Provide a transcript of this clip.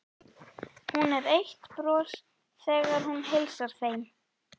Hún er eitt bros þegar hún heilsar þeim.